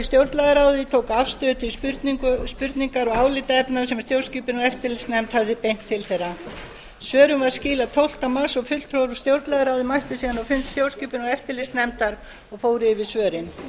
stjórnlagaráði tóku afstöðu til spurningar og álitaefna sem stjórnskipunar og eftirlitsnefnd var beint til þeirra svörum var skilað tólfta mars og fulltrúar úr stjórnlagaráði mættu síðan á fund stjórnskipunar og eftirlitsnefndar og fór yfir svörin